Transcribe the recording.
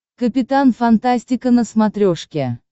капитан фантастика на смотрешке